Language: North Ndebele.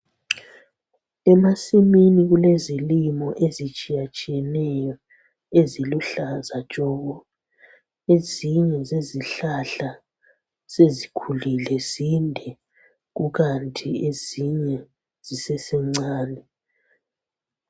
emasimini kulezilimo ezitshiyatshiyeneyo eziluhlaza tshoko ezinye zezihlahla sezikhulile zinde kukanti ezinye zisesencane